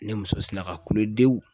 Ne muso sina ka kule dewu